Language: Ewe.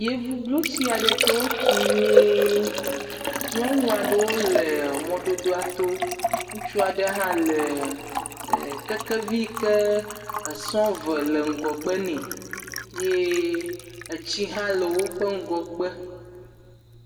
Yevublotsi aɖe yi ke wotu nyuie, nyɔnu aɖewo le mɔdodoa to, ŋutsu aɖe hã le kekevi ke esɔ̃ eve le ŋgɔgbe nɛ ye etsi hã le woƒe ŋgɔgbe.